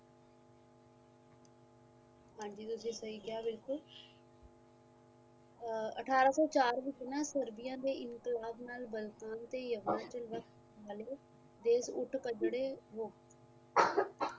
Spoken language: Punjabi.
ਹਾਂਜੀ ਤੁਸੀ ਸਹੀ ਕਿਆ ਬਿਲਕੁਲ ਅਠਾਰਾਂ ਸੋ ਚਾਰ ਵਿੱਚ ਨਾ ਸਰਦਿਆਂ ਇਨਕਲਾਬ ਉੱਠ ਕਟਰੇ ਹੋ